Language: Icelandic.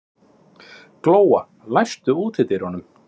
Glóa, læstu útidyrunum.